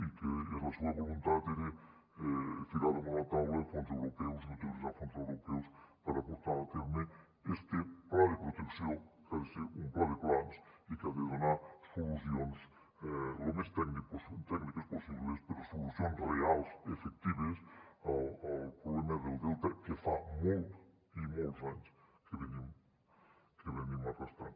i que la seva voluntat era ficar damunt la taula fons europeus i utilitzar fons europeus per a portar a terme este pla de protecció que ha de ser un pla de plans i que ha de donar solucions lo més tècniques possibles però solucions reals efectives al problema del delta que fa molts i molts anys que venim arrastrant